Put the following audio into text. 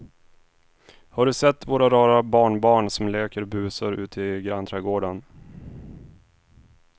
Har du sett våra rara barnbarn som leker och busar ute i grannträdgården!